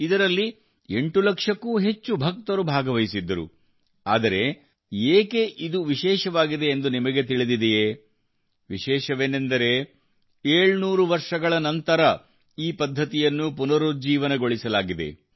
ಇದರಲ್ಲಿ ಎಂಟು ಲಕ್ಷಕ್ಕೂ ಹೆಚ್ಚು ಭಕ್ತರು ಭಾಗವಹಿಸಿದ್ದರು ಆದರೆ ಇದು ಏಕೆ ವಿಶೇಷವಾಗಿದೆ ಎಂದು ನಿಮಗೆ ತಿಳಿದಿದೆಯೇ ವಿಶೇಷವೇನೆಂದರೆ 700 ವರ್ಷಗಳ ನಂತರ ಈ ಪದ್ಧತಿಯನ್ನು ಪುನರುಜ್ಜೀವನಗೊಳಿಸಲಾಗಿದೆ